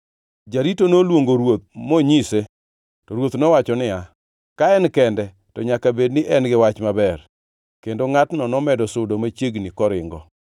Jarito noluongo ruoth monyise. To ruoth nowacho niya, “Ka en kende to nyaka bed ni en gi wach maber.” Kendo ngʼatno nomedo sudo machiegni koringo.